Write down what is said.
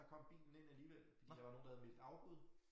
Der kom bilen ind alligevel fordi der var nogen der havde meldt afbud